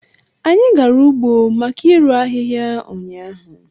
Anyị gara ugbo maka irụ ahịhịa ụnyaahụ